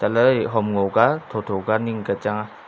lai hom ngo ka tho tho ka ning ka changa.